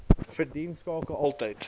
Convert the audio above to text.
verdien skakel altyd